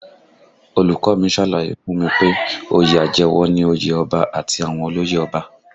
Olùkọ́ ọ mi ṣàlàyé fún mi pé oyè àjẹwọ̀ ni òye ọba àti àwọn olóyè ọba